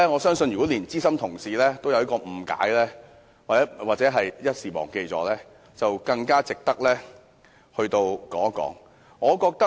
如果連資深同事也有誤解，又或是一時忘記，那麼這項議案便更值得我們討論。